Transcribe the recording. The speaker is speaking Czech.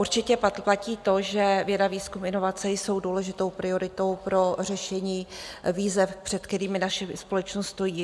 Určitě platí to, že věda, výzkum, inovace jsou důležitou prioritou pro řešení výzev, před kterými naše společnost stojí.